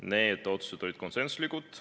Need otsused olid konsensuslikud.